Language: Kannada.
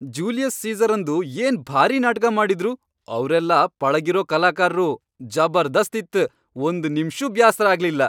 ಜೂಲಿಯಸ್ ಸೀಸರಂದು ಏನ್ ಭಾರಿ ನಾಟಗಾ ಮಾಡಿದ್ರು ಅವ್ರೆಲ್ಲಾ ಪಳಗಿರೋ ಕಲಾಕಾರ್ರು ಜಬರ್ದಸ್ತ್ ಇತ್ ಒಂದ್ ನಿಮ್ಷೂ ಬ್ಯಾಸ್ರ ಆಗ್ಲಿಲ್ಲ.